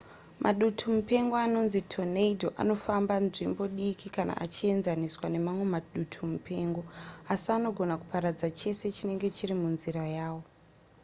madutumupengo anonzi tornado anofamba nzvimbo diki kana achienzaniswa nemamwe madutumupengo asi anogona kuparadza chese chinenge chiri munzira yawo